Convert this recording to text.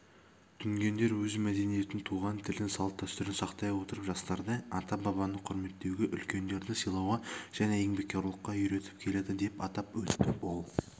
дүнгендер өз мәдениетін туған тілін салт-дәстүрін сақтай отырып жастарды ата-бабаны құрметтеуге үлкендерді сыйлауға және еңбекқорлыққа үйретіп келеді деп атап өтті ол